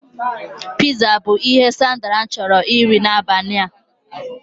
Piza bụ ihe Sandra chọrọ iri n'abalị a